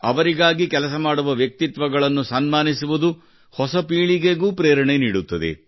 ಅವರಿಗಾಗಿ ಕೆಲಸ ಮಾಡುವ ವ್ಯಕ್ತಿತ್ವಗಳನ್ನು ಸನ್ಮಾನಿಸುವುದು ಹೊಸ ಪೀಳಿಗೆಗೂ ಪ್ರೇರಣೆ ನೀಡುತ್ತದೆ